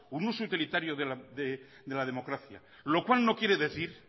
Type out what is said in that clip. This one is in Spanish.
un uso utilitario de la democracia lo cual no quiere decir